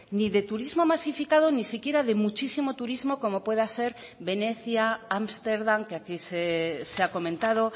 ni de turismo masificado ni siquiera de muchísimo turismo como pueda ser venecia ámsterdam que aquí se ha comentado